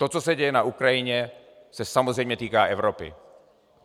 To, co se děje na Ukrajině, se samozřejmě týká Evropy.